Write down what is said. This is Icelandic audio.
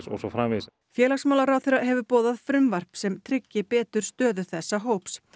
og svo framvegis félagsmálaráðherra hefur boðað frumvarp sem tryggi betur stöðu þessa hóps